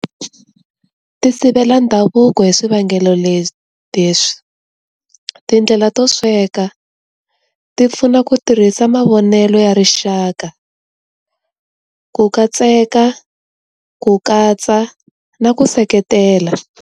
Ti sivela ndhavuko hi swivangelo leswi, tindlela to sweka ti pfuna ku tirhisa mavonelo ya rixaka, ku katseka, ku katsa na ku seketela.